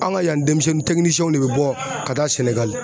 An ka yan denmisɛnnin ne bɛ bɔ ka taa Sɛnɛgali.